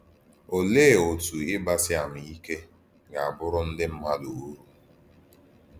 Òlee otú gị ígbàsí àmà ìké gà-abàrú ndí mmádụ ùrù?